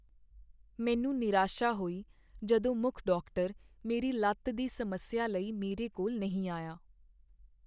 ਮੈਨੂੰ ਨਿਰਾਸ਼ਾ ਹੋਈ ਜਦੋਂ ਮੁੱਖ ਡਾਕਟਰ ਮੇਰੀ ਲੱਤ ਦੀ ਸਮੱਸਿਆ ਲਈ ਮੇਰੇ ਕੋਲ ਨਹੀਂ ਆਇਆ।